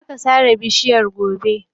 Za ka sare bishiyar gobe.